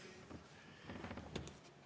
Kõik.